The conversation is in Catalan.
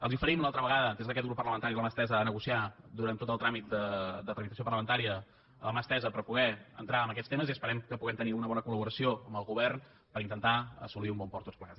els oferim una altra vegada des d’aquest grup parlamentari la mà estesa per negociar durant tot el tràmit de tramitació parlamentària la mà estesa per poder entrar en aquests temes i esperem que puguem tenir una bona col·laboració amb el govern per intentar assolir un bon port tots plegats